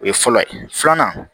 O ye fɔlɔ ye filanan